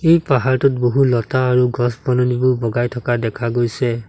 এই পাহাৰটোত বহু লতা আৰু গছ বননিবোৰ বগাই থকা দেখা গৈছে।